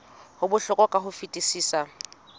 ho bohlokwa ka ho fetisisa